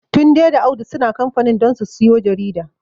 Tunde da Audu suna kamfanin don su siyo jarida.